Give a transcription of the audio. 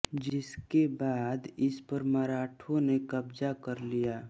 जिसके बाद इसपर मराठों ने क़ब्ज़ा कर लिया